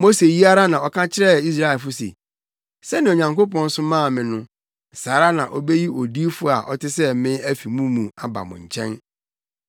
“Mose yi ara na ɔka kyerɛɛ Israelfo se, sɛnea Onyankopɔn somaa me no, saa ara na obeyi odiyifo a ɔte sɛ me afi mo mu aba mo nkyɛn.